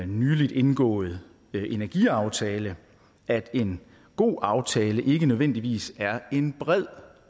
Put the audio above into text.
nyligt indgåede energiaftale at en god aftale ikke nødvendigvis er en bred